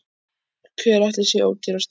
Hver ætli sé ódýrastur?